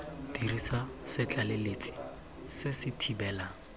dirisa setlaleletsi se se thibelang